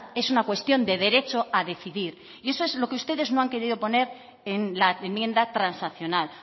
es una cuestión de derecho a decidir y eso es lo que ustedes no han querido poner en la enmienda transaccional